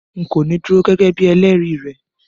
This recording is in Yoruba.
N̄ kò ní dúró gẹ́gẹ́ bíi ẹlẹ́rìí rẹ